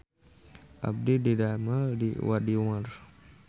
Abdi didamel di Wadimor